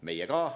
Meie ka.